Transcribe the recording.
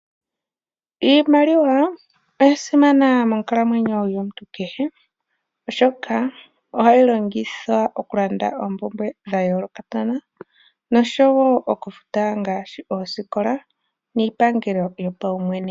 Iimaliwa oya simana monkalamwenyo yomuntu kehe oshoka ohayi longithwa okulanda oompumbwe dhayoolokathana noshowo okufuta ngaashi oosikola niipangelo yopaumwene.